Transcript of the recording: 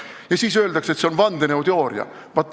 Ja siis öeldakse, et see on vandenõuteooria.